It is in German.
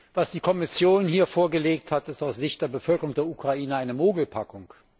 Was die Kommission hier vorgelegt hat, ist aus Sicht der Bevölkerung der Ukraine eine Mogelpackung.